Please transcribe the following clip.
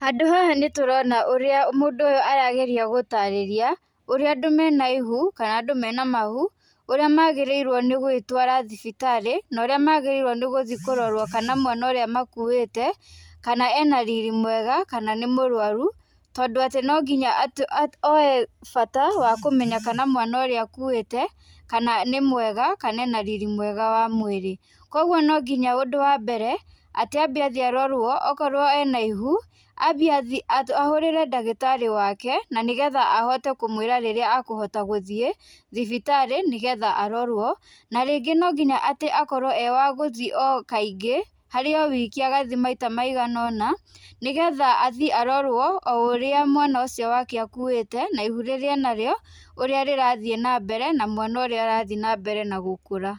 Handũ haha nĩ tũrona ũrĩa mũndũ ũyũ arageria gũtarĩria, ũrĩa andũ me na ihu kana andũ mena mahu, ũrĩa magĩrĩirwo nĩ gwĩtwara thibitarĩ, na ũrĩa magĩrĩirwo nĩ gũthiĩ kũrorwo kana mwana ũrĩa makuĩte, kana ena riri mwega, kana nĩ mũrũaru, tondũ atĩ no nginya atĩ oe bata wa kũmenya kana mwana ũrĩa akuĩte, kana nĩ mwega, kana ena riri mwega wa mbere. Kwoguo no nginya ũndũ wa mbere, atĩ ambe athiĩ arorwo, okorwo ena ihu athiĩ ahũrĩre ndagĩtarĩ wake na nĩ getha ahote kũmwĩra rĩrĩa akũhota gũthiĩ thibitarĩ nĩgetha arorwo, na rĩngĩ no nginya atĩ akorwo e wagũthiĩ o kaingĩ, harĩ o wiki agathiĩ maita maiganũna, nĩgetha athiĩ arorwo o ũrĩa mwana ũcio wake akuĩte na ihu rĩrĩa e narĩo, ũria rĩrathiĩ na mbere, na mwana ũrĩa arathiĩ na mbere na gũkũra.